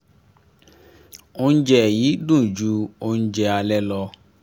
oúnjẹ yìí dùn ju oúnjẹ alẹ́ lọ